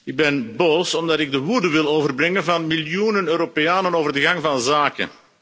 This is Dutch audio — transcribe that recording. Ik ben boos omdat ik de woorden wil overbrengen van miljoenen Europeanen over de gang van zaken.